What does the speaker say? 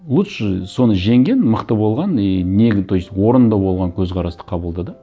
лучше соны жеңген мықты болған и то есть орынды болған көзқарасты қабылда да